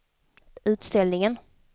utställningen